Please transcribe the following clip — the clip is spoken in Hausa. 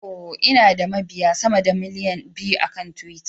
Oh, Ina da mabiya sama da miliyan biyu akan twitter.